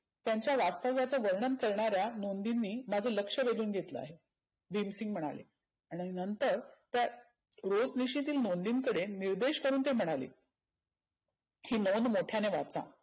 त्याच्या वास्तव्याच्या वर्णन करणाऱ्या नोंदिंनी माझं लक्ष वेधून घेतले आहे. भिमसिंग म्हणाले. आणि नंतर त्या रोजनिशीतील नोंदींकडे निर्देश करुण ते म्हणाले. ही नोंद मोठ्याने वाचा.